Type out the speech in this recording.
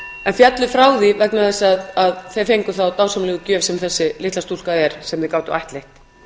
en féllu frá því vegna þess að þeir fengu þá dásamlegu gjöf sem þessi litla stúlka er sem þeir gátu ættleitt